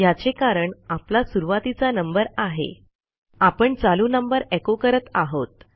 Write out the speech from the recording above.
ह्याचे कारण आपला सुरूवातीचा नंबर आहे आपण चालू नंबर एचो करत आहोत